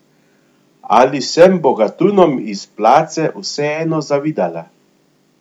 Ali sem bogatunom iz Plaze vseeno zavidala?